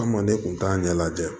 An ma ne kun t'a ɲɛ lajɛ